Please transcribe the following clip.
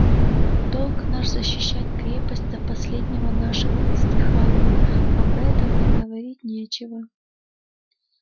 долг наш защищать крепость до последнего нашего издыхания об этом и говорить нечего